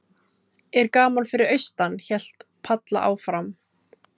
Er gaman fyrir austan? hélt Palla áfram.